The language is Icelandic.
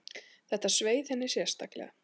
Þetta sveið henni sérstaklega.